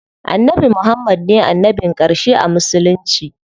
Annabi Muhammad ne annabin ƙarshe a musulunci.